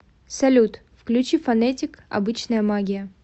салют включи фонетик обычная магия